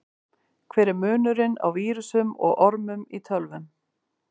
Hver er munurinn á vírusum og ormum í tölvum?